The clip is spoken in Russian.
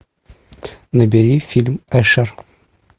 набери фильм эшер